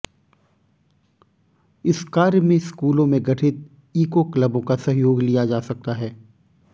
इस कार्य में स्कूलों में गठित ईको क्लबों का सहयोग लिया जा सकता है